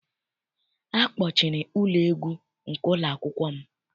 Akpọchiri ụlọ egwu nke ụlọakwụkwọ m.